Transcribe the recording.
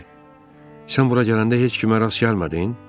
Sən bura gələndə heç kimə rast gəlmədin?